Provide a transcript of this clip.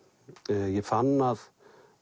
ég fann að